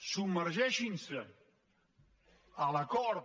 submergeixin se en l’acord